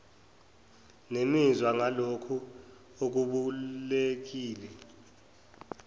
nemizwa ngalokho okubalulekile